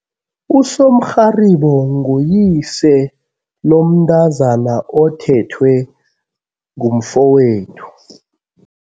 Usomrharibo nguyise lomntazana othethwe ngumfowethu.